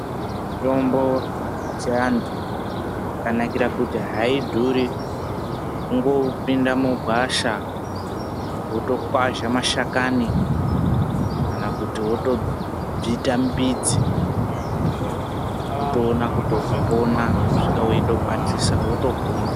Mutombo yechiantu yakanakira kuti haidhuri kungopinda mugwasha votokwazha mashakani kana kuti votobvita mbidzi votoona kuti vapona, vosvika votokwatisa votopona.